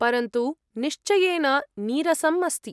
परन्तु निश्चयेन नीरसम् अस्ति।